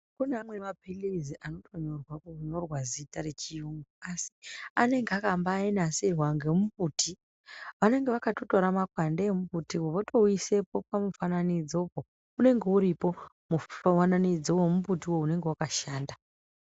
Kune amweni maphirizi anotonyorwa ,kunyorwa zita rechiyungu ,asi anenga akambainasirwa ngemumbuti .Vanenga vakatotora mapande emumbutiwo votoaisepo pamifananidzopo. Unenge uripo mufananidzo womumbuti unonga wakashanda.